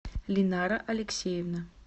линара алексеевна